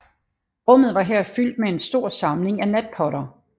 Rummet var her fyldt med en stor samling af natpotter